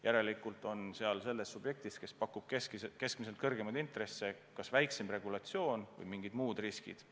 Järelikult on selle subjektiga, kes pakub keskmisest kõrgemaid intresse, seotud kas väiksem regulatsioon või mingid muud riskid.